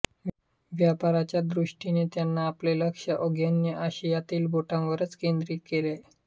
व्यापाराच्या दृष्टीने त्यांनी आपले लक्ष्य आग्नेय आशियातील बेटांवरच केंद्रित केले